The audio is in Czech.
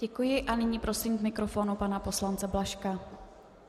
Děkuji, a nyní prosím k mikrofonu pana poslance Blažka.